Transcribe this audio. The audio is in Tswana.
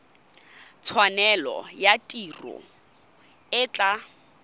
tshwanelo ya tiro e tla